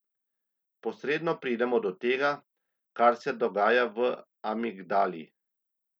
Posredno pridemo do tega, kar se dogaja v amigdali.